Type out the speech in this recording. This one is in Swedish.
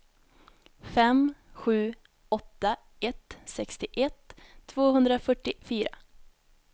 fem sju åtta ett sextioett tvåhundrafyrtiofyra